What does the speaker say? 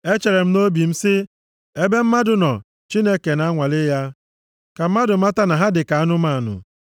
Echere m nʼobi sị, “Ebe mmadụ nọ, Chineke na-anwale ya, ka mmadụ mata na ha dị ka anụmanụ.